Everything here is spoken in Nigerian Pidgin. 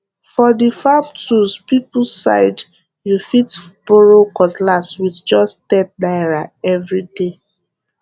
for the farm tools people side you fit borrow cutlass with just ten naira every day